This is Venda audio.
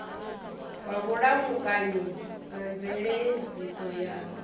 wa vhulamukanyi na mveledziso ya